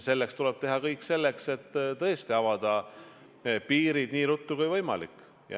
Tuleb teha kõik selleks, et tõesti avada piirid nii ruttu kui võimalik.